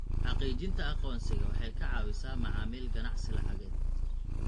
Xaqiijinta aqoonsiga waxay ka caawisaa macaamil ganacsi lacageed.